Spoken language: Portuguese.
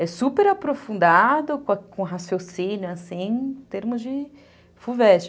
É super aprofundado com raciocínio, assim, em termos de fu ves te.